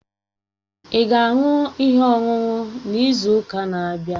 Ị ga-aṅụ ihe ọṅụṅụ n'izu ụka na-abịa?